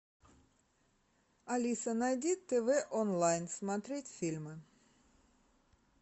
алиса найди тв онлайн смотреть фильмы